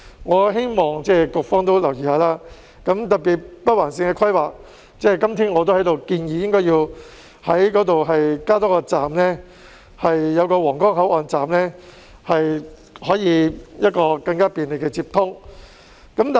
我希望局方留意，特別是就北環綫的規劃，我今天也在這裏建議，應該在那裏加設一個皇崗口岸站，以提供更便利的接通。